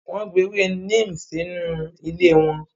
Wọ́n gbin ewé neem sínú ilé wọn.